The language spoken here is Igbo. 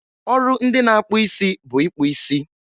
ọrụ ndị na-akpụ isi bụ ịkpụ isi.